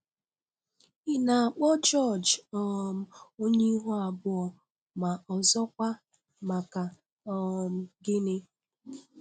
Ị na-akpọ George um onye ihu abụọ, ma ọzọkwa, maka um gịnị?